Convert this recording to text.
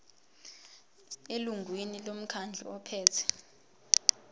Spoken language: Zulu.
elungwini lomkhandlu ophethe